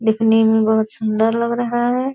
दिखने में बहोत सुंदर लग रहा है।